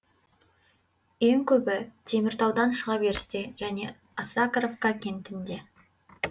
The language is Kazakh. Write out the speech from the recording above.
ең көбі теміртаудан шыға берісте және осакаровка кентінде